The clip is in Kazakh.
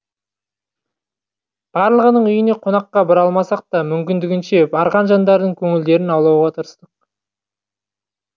барлығының үйіне қонаққа бара алмасақ та мүмкіндігінше барған жандардың көңілдерін аулауға тырыстық